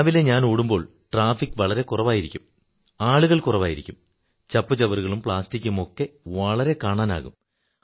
രാവിലെ ഞാൻ ഓടുമ്പോൾ ട്രാഫിക് വളരെ കുറവായിരിക്കും ആളുകൾ കുറവായിരിക്കും ചപ്പുചവറുകളും പ്ലാസ്റ്റിക്കുമൊക്കെ വളരെയധികം കാണാനാകും